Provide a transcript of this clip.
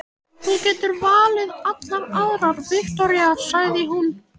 Þú getur valið allar aðrar, Viktoría, sagði hún.